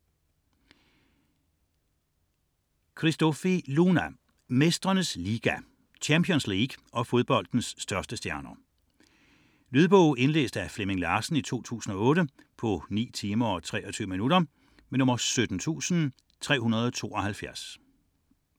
79.71 Christofi, Luna: Mestrenes liga: Champions League og fodboldens største stjerner Lydbog 17372 Indlæst af Flemming Larsen, 2008. Spilletid: 9 timer, 23 minutter.